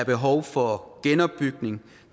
behov for genopbygning